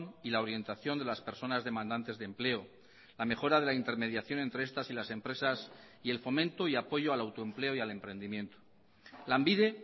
y la orientación de las personas demandantes de empleo la mejora de la intermediación entre estas y las empresas y el fomento y apoyo al autoempleo y al emprendimiento lanbide